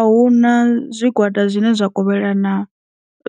A huna zwi gwada zwine zwa kovhela na